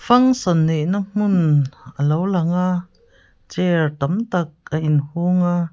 function neihna hmun a lo lang a chair tam tak a inchung a.